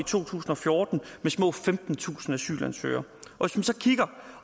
to tusind og fjorten med små femtentusind asylansøgere og